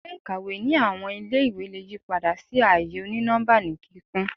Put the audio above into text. Ile-ikawe ni awọn ile-iwe le yipada si aaye oni-nọmba ni kikun